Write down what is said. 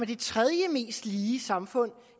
det tredje mest lige samfund